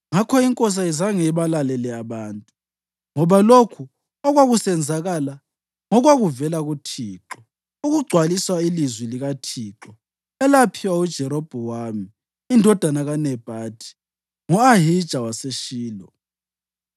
Ngakho inkosi ayizange ibalalele abantu, ngoba lokhu okwakusenzakala ngokwakuvela kuThixo, ukugcwalisa ilizwi likaThixo elaphiwa uJerobhowamu indodana kaNebhathi ngo-Ahija waseShilo.